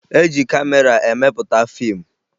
E ji kamera emepụta fiimụ